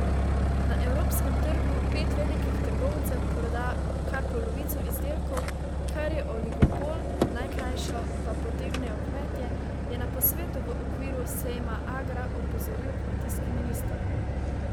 Na evropskem trgu pet velikih trgovcev proda kar polovico izdelkov, kar je oligopol, najkrajšo pa potegnejo kmetje, je na posvetu v okviru sejma Agra opozoril kmetijski minister.